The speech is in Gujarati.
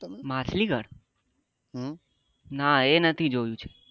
માછલી ઘર ના એ નથી જોયું છે